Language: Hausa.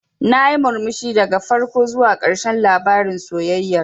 Nayi murmushi daga farko zuwa ƙarshen labarin sayayyar.